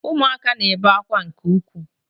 Ụmụaka na-ebe akwa nke ukwuu